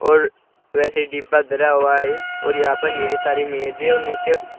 और वैसे डिब्बा धरा हुआ है और यहां पर सारी मेजे है और नीचे--